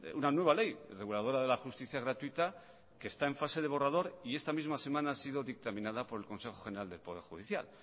una nueva ley reguladora de la justicia gratuita que está en fase de borrador y esta misma semana ha sido dictaminada por el consejo general del poder judicial